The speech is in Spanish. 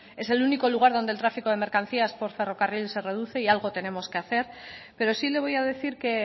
es el único lugar donde el tráfico de mercancías por ferrocarril se reduce y algo tenemos que hacer pero sí le voy a decir que